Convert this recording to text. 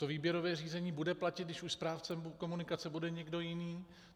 To výběrové řízení bude platit, když už správcem komunikace bude někdo jiný?